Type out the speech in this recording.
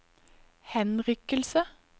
henrykkelse